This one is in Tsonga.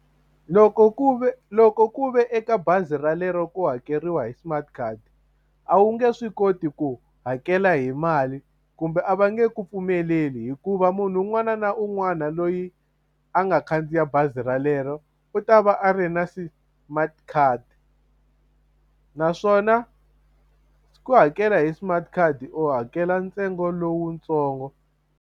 Loko ku ve loko ku ve eka bazi ralero ku hakeriwa hi smart card a wu nge swi koti ku hakela hi mali kumbe a va nge ku pfumeleli hikuva munhu un'wana na un'wana loyi a nga khandziya bazi relero u ta va a ri na smart card naswona ku hakela hi smart card u hakela ntsengo lowutsongo.